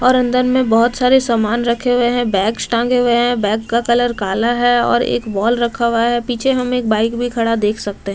और अंदर में बोहत सारे समान रखे हुए हैं बैग्स टांगे हुए हैं बैग का कलर काला है और एक वॉल रखा हुआ है पीछे हम एक बाइक भी खड़ा देख सकते --